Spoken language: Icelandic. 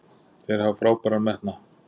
Þeir hafa frábæran metnað.